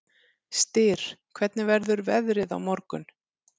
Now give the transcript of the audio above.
Styr, hvernig verður veðrið á morgun?